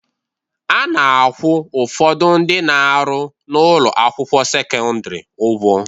A na-akwụ ụfọdụ ndị na-arụ n'ụlọ akwụkwọ sekọndịrị ụgwọ